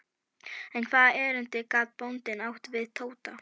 En hvaða erindi gat bóndinn átt við Tóta?